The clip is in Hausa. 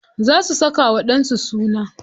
Za su saka wa ɗan su suna.